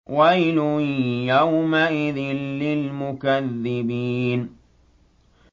وَيْلٌ يَوْمَئِذٍ لِّلْمُكَذِّبِينَ